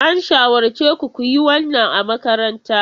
An shawarce ku ku yi wannan a makaranta.